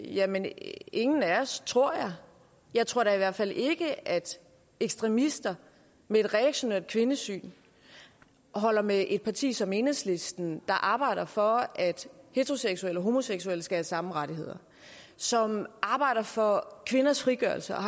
jamen ingen af os tror jeg jeg tror da i hvert fald ikke at ekstremister med et reaktionært kvindesyn holder med et parti som enhedslisten der arbejder for at heteroseksuelle og homoseksuelle skal have samme rettigheder som arbejder for kvinders frigørelse og